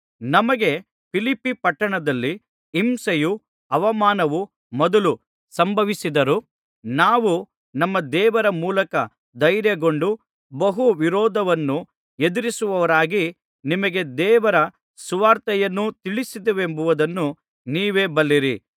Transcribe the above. ನಮಗೆ ಫಿಲಿಪ್ಪಿ ಪಟ್ಟಣದಲ್ಲಿ ಹಿಂಸೆಯೂ ಅವಮಾನವೂ ಮೊದಲು ಸಂಭವಿಸಿತ್ತಾದರೂ ನಾವು ನಮ್ಮ ದೇವರ ಮೂಲಕ ಧೈರ್ಯಗೊಂಡು ಬಹು ವಿರೋಧವನ್ನು ಎದುರಿಸುವವರಾಗಿ ನಿಮಗೆ ದೇವರ ಸುವಾರ್ತೆಯನ್ನು ತಿಳಿಸಿದ್ದೇವೆಂಬುದನ್ನು ನೀವೇ ಬಲ್ಲಿರಿ